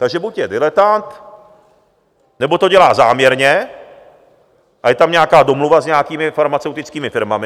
Takže buď je diletant, nebo to dělá záměrně a je tam nějaká domluva s nějakými farmaceutickými firmami.